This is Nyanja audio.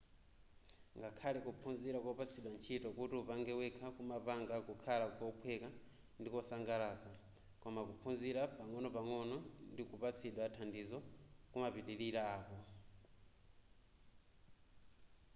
ngakhale kuphunzira kopatsidwa ntchito kuti upange wekha kumapanga kukhala kophweka ndikosangalatsa koma kuphunzira pang'ono-pang'ono ndi kupatsidwa thandizo kumapitilira apo